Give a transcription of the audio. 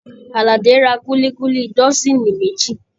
Aládé ra kulikuli dọsini méjì